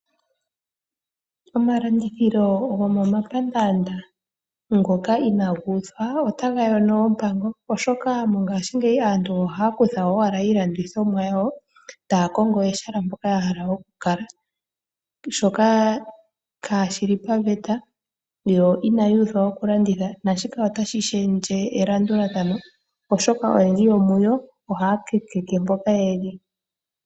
Omalandithilo gomomapandaanda ngoka inaga uthwa otaga yono ompango oshoka mongaashingeyi aantu ohaya kutha owala iilandithomwa yawo taya kongo ehala mpoka ya hala oku kala, shoka kaa shili paveta, yo ina yuuthwa oku landitha. Naashika otashi shendje elandulathano oshoka oyendji yomuyo ohaya kakeke mpoka yeli.